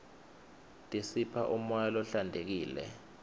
tisipha umoya lohlantekile